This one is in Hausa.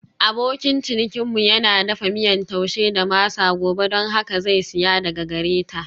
Abokin cinikinmu yana dafa miyan Taushe da masa gobe don haka zai saya daga gare ta.